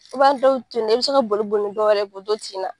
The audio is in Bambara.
I b'an dɔw toyi nɔ i bɛ se ka boli boli ni dɔw yɛrɛ ye k'o to tin na.